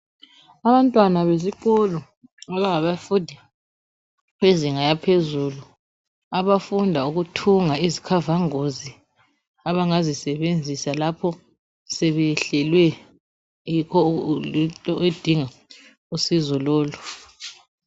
Abantwana besikolo abangaba fundi bezinga yaphezulu abafunda ukuthunga izikhava ngozi abangazi sebenzisa lapho sebeyehlelwe yinto edinga usizo lolu.